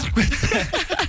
шығып кетсін